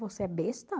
Você é besta?